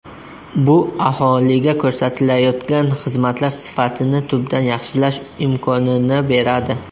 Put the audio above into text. Bu aholiga ko‘rsatilayotgan xizmatlar sifatini tubdan yaxshilash imkonini beradi.